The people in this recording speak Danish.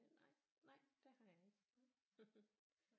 Nej nej det har jeg ikke